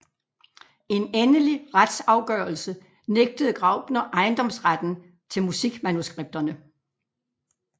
En endelig retsafgørelse nægtede Graupner ejendomsretten til musikmanuskripterne